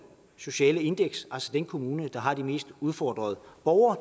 sociale indeks altså den kommune der har de mest udfordrede borgere